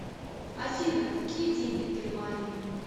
афина какие деньги в германии